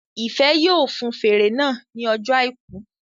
Ìfẹ́ yóò fun fèrè náà ní ọjọ́ àìkú